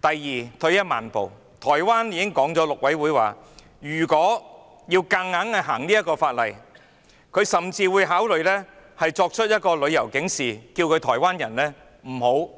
第二，退一萬步，台灣陸委會已經表示，如果香港要強行修例，便會考慮發出旅遊警示，呼籲台灣人不要